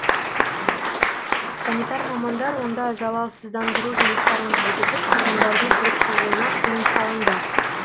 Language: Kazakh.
санитар мамандар онда залалсыздандыру жұмыстарын жүргізіп тұрғындардың кіріп шығуына тыйым салынды